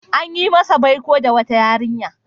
An yi masa baiko da wata yarinya.